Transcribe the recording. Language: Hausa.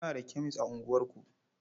Muna da kemes a unguwarku.